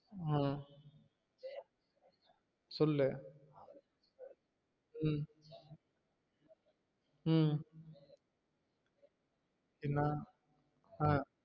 உம் சொல்லு உம் உம் என்ன ஆஹ்